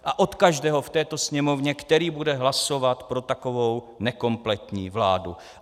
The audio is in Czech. A od každého v této Sněmovně, který bude hlasovat pro takovou nekompletní vládu.